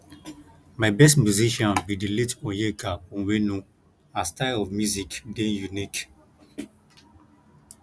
my best musician be the late onyeka onwenu her style of music dey unique